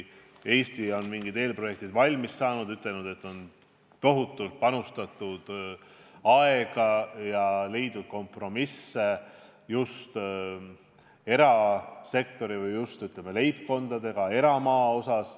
Eesti on mingid eelprojektid valmis saanud ning ütelnud, et tohutult on panustatud aega ja leitud kompromisse just erasektori või, ütleme, leibkondadega eramaa osas.